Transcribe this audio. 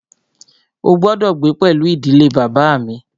Ó gbọ́dọ̀ gbé pẹlú ìdílé bàbá à mi!